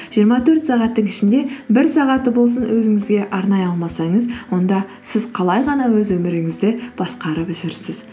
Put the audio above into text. жиырма төрт сағаттың ішінде бір сағатты болсын өзіңізге арнай алмасаңыз онда сіз қалай ғана өз өміріңізді басқарып жүрсіз